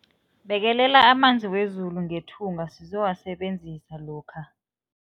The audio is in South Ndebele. Bekelela amanzi wezulu ngethunga sizowasebenzisa lokha.